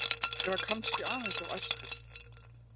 Ég var kannski aðeins of æstur.